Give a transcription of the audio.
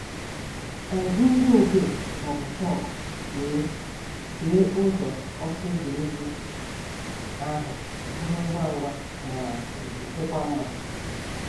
Anyị ji nzu odee ma ọbụ chọkụ wee kee ụzọ ọsọ egwuregwu ahụ bụrụ ngwa ngwa ma um dịkwa mma